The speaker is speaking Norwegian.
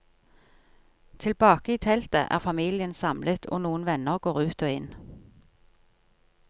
Tilbake i teltet er familien samlet og noen venner går ut og inn.